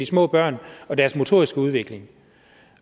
små børn og deres motoriske udvikling